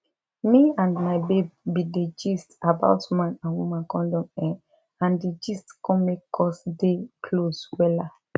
me and my babe been dey gist about man and woman condom[um]and di gist come make us dey close wella